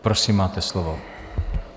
Prosím, máte slovo.